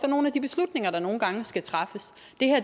nogle af de beslutninger der nogle gange skal træffes